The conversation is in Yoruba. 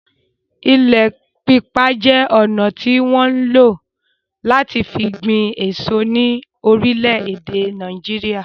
Ilẹ̀ pípa je ọna tí wọn ń lo láti fi gbin èso ní orílè èdè Nàìjíríà